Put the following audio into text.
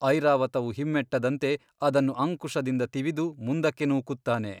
ಐರಾವತವು ಹಿಮ್ಮೆಟ್ಟದಂತೆ ಅದನ್ನು ಅಂಕುಶದಿಂದ ತಿವಿದು ಮುಂದಕ್ಕೆ ನೂಕುತ್ತಾನೆ.